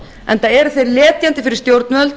enda eru þeir letjandi fyrir stjórnvöld